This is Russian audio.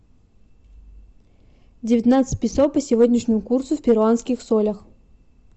девятнадцать песо по сегодняшнему курсу в перуанских солях